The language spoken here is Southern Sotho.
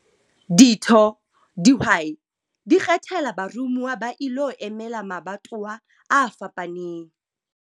Ditho, dihwai, di ikgethela baromuwa ba ilo emela mabatowa a fapaneng.